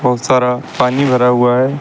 बहुत सारा पानी भरा हुआ है।